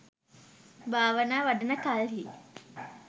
භාවනා වඩන කල්හි